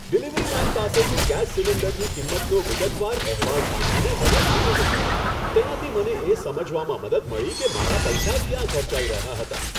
Delivery man પાસેથી gas સિલિન્ડરની કિંમતનો વિગતવાર અહેવાલ સાંભળીને મને આનંદ થયો. તેનાથી મને એ સમજવામાં મદદ મળી કે મારા પૈસા ક્યાં ખર્ચાઈ રહ્યા હતા.